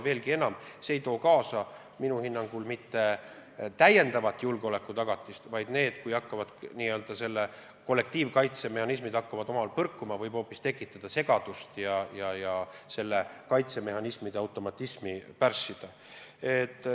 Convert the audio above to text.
Veelgi enam, minu hinnangul ei tooks see kaasa täiendavat julgeolekutagatist – kui selle n-ö kollektiivkaitse mehhanismid hakkavad omavahel põrkuma, siis võib see hoopis segadust tekitada ja kaitsemehhanismide automatismi pärssida.